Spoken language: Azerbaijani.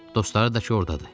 Dostları da ki ordadı.